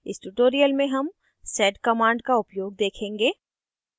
इस tutorial में हम sed command का उपयोग देखेंगे